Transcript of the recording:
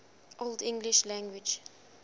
old english language